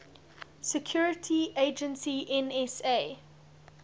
security agency nsa